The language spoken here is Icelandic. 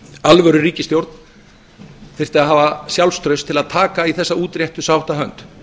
alvöru ríkisstjórn þyrfti að hafa sjálfstraust til að taka í þessa útréttu sáttarhönd